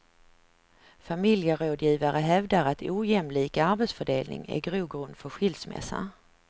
Familjerådgivare hävdar att ojämlik arbetsfördelning är grogrund för skilsmässa.